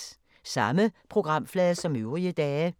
Samme programflade som øvrige dage